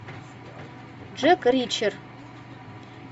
джек ричер